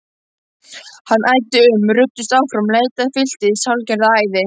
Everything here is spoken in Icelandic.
Hann æddi um, ruddist áfram, leitaði, fylltist hálfgerðu æði.